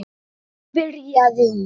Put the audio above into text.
byrjaði hún.